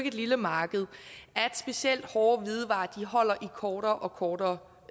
et lille marked at specielt hårde hvidevarer holder i kortere og kortere